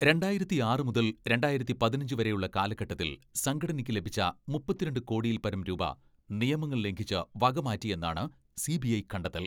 രണ്ടായിരത്തിയാറ് മുതൽ രണ്ടായിരത്തി പതിനഞ്ച് വരെയുള്ള കാലഘട്ടത്തിൽ സംഘടനയ്ക്ക് ലഭിച്ച മുപ്പത്തിരണ്ട് കോടിയിൽപരം രൂപ നിയമങ്ങൾ ലംഘിച്ച് വക മാറ്റിയെന്നാണ് സി.ബി.ഐ കണ്ടെത്തൽ.